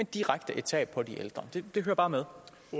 direkte tab for de ældre det hører bare med